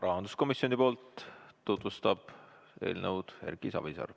Rahanduskomisjoni nimel tutvustab eelnõu Erki Savisaar.